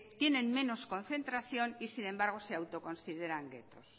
tienen menos concentración y sin embargo se autoconsideran guetos